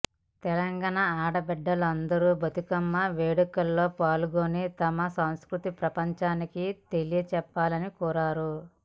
తెలంగాణ ఆడబిడ్డలందరూ బతుకమ్మ వేడుకల్లో పాల్గొని తమ సంస్కృతిని ప్రపంచానికి తెలియచెప్పాలని కోరారు